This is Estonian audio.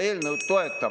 Ei ole ainult püssid.